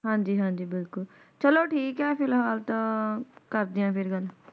ਹਾਂਜੀ-ਹਾਂਜੀ ਬਿਲਕੁਲ ਚਲੋ ਠੀਕ ਹੈ ਫਿਲਹਾਲ ਤਾ ਕਰਦੀ ਹਾਂ ਫਿਰ ਗੱਲ